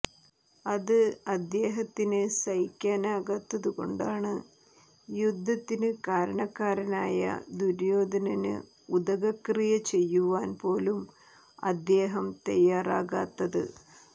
അത് അദ്ദേഹത്തിന് സഹിക്കാനാകാത്തതു കൊണ്ടാണ് യുദ്ധത്തിന് കാരണക്കാരനായ ദുര്യോധനന് ഉദകക്രിയ ചെയ്യുവാൻ പോലും അദ്ദേഹം തയ്യാറാകാത്തത്